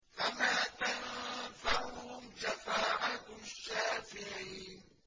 فَمَا تَنفَعُهُمْ شَفَاعَةُ الشَّافِعِينَ